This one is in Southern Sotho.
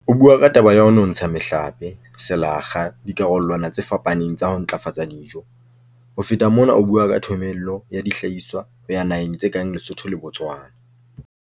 O bua ka taba ya ho nontsha mehlape, selakga, dikarolwana tse fapaneng tsa ho ntlafatsa dijo. Ho feta mona o bua ka thomello ya dihlahiswa ho ya naheng tse kang Lesotho le Botswana.